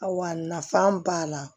Awa nafa b'a la